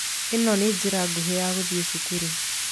ĩno nĩ njĩra nguhĩ ya guthiĩ cukuru.